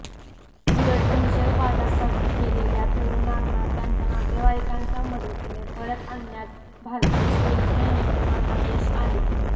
उलट दहशतवादासाठी गेलेल्या तरुणांना त्यांच्या नातेवाईकांच्या मदतीने परत आणण्यात भारतीय सुरक्षा यंत्रणांना यश आले